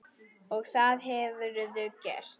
Og það hefurðu gert.